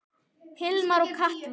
Hilmar og Katla.